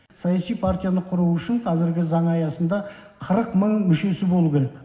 саяси партияны құру үшін қазіргі заң аясында қырық мың мүшесі болуы керек